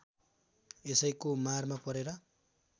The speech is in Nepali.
यसैको मारमा परेर